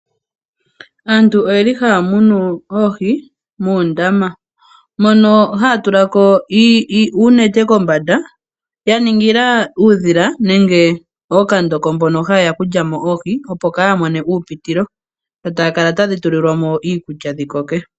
Aantu oyeli haya munu oohi moondama , mono haya tulamo uunete kombanda yaningila uudhila nenge ookandoko mbono hayeya okulyamo oohi kaadhi mono uupitilo. Dho tadhi kala tadhi pelwamo iikulya dhi koke.